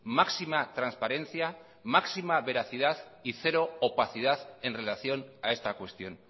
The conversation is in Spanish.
máxima transparencia máxima veracidad y cero opacidad en relación a esta cuestión